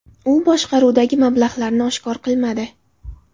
U boshqaruvdagi mablag‘larini oshkor qilmadi.